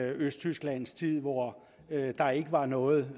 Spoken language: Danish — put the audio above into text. østtyskland hvor der ikke var noget